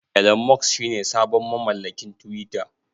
Elon Musk shine sabon mamallakin twitter.